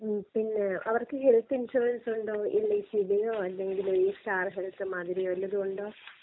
ഉം പിന്നെ അവർക്ക് ഹെൽത് ഇൻഷുറൻസ് ഉണ്ടോ? എൽ ഐ സിയുടെയോ അല്ലെങ്കി ഈ സ്റ്റാർ ഹെൽത്ത് മാതിരി വലതും ഉണ്ടോ?